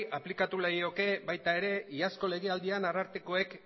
aplikatu lekioke baita ere iazko legealdian arartekoak